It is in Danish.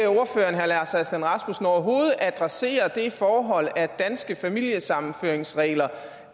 herre lars aslan rasmussen overhovedet adressere det forhold at danske familiesammenføringsregler